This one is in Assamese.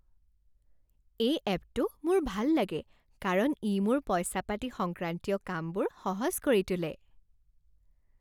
এই এপটো মোৰ ভাল লাগে কাৰণ ই মোৰ পইচা পাতি সংক্ৰান্তীয় কামবোৰ সহজ কৰি তোলে।